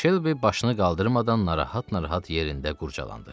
Şelbi başını qaldırmadan narahat-narahat yerində qurcalandı.